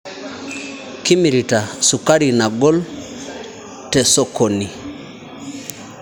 Kimirita sukari nagol tesokoni